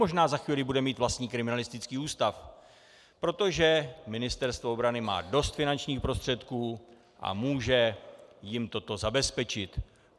Možná za chvíli bude mít vlastní kriminalistický ústav, protože Ministerstvo obrany má dost finančních prostředků a může jim toto zabezpečit.